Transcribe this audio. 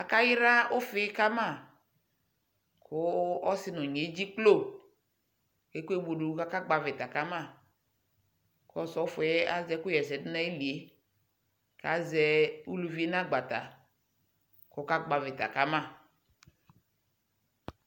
Akayra ufii kama kuu ɔsi nunyi eɖʒiklo nudunu kaka kpɔ avita kama Ku Ɔsɔfɔɛ aʒɛ ɛku ɣɛsɛduɛ kaʒɛ uluvie nagbatɛ kakakpɔ avita kamaa